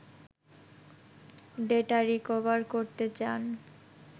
data recover করতে চান